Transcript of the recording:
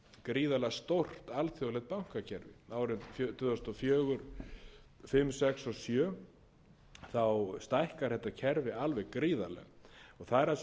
gríðarlega stórt alþjóðlegt bankakerfi árin tvö þúsund og fjögur tvö þúsund og fimm tvö þúsund og sex og tvö þúsund og sjö stækkar þetta kerfi alveg gríðarlega það er það